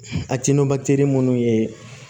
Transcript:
A ti nɔntɛ munnu ye